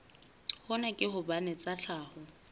hona ke hobane tsa tlhaho